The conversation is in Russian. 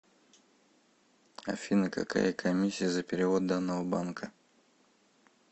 афина какая комиссия за перевод данного банка